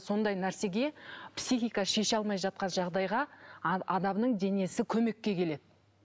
сондай нәрсеге психика шеше алмай жатқан жағдайға адамның денесі көмекке келеді